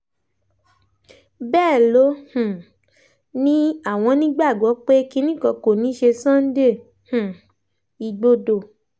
bẹ́ẹ̀ ló um ní àwọn nígbàgbọ́ pé kinní kan kò ní í ṣe sunday um igbodò